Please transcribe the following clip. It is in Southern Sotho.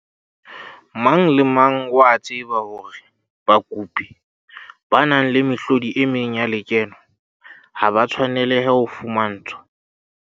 Mang le mang o a tseba hore bakopi ba nang le mehlodi e meng ya lekeno ha ba tshwanelehe ho fumantshwa